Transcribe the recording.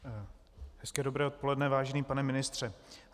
Hezké dobré odpoledne, vážený pane ministře.